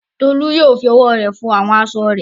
Tolú yóò fi ọwọ́ rẹ̀ fọ àwọn aṣọ rẹ̀.